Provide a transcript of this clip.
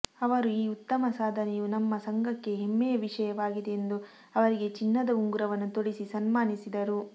ಅವರ ಈ ಉತ್ತಮ ಸಾಧನೆಯು ನಮ್ಮ ಸಂಘಕ್ಕೆ ಹೆಮ್ಮೆಯ ವಿಷಯವಾಗಿದೆ ಎಂದು ಅವರಿಗೆ ಚಿನ್ನದ ಉಂಗುರವನ್ನು ತೊಡಿಸಿ ಸನ್ಮಾನಿಸಿದರು